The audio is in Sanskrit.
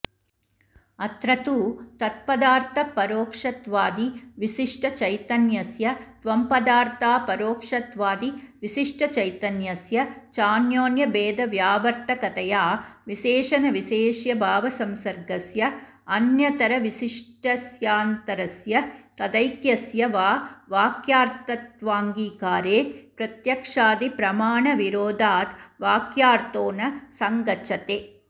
अत्र तु तत्पदार्थपरोक्षत्वादिविशिष्टचैतन्यस्य त्वम्पदार्थापरोक्षत्वादिविशिष्टचैतन्यस्य चान्योन्यभेदव्यावर्तकतया विशेषणविशेष्यभावसंसर्गस्य अन्यतरविशिष्टस्यान्यतरस्य तदैक्यस्य वा वाक्यार्थत्वाङ्गीकारे प्रत्यक्षादिप्रमाणविरोधाद् वाक्यार्थो न सङ्गच्छते